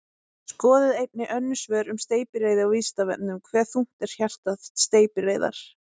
Skoðið einnig önnur svör um steypireyði á Vísindavefnum: Hve þungt er hjarta steypireyðar?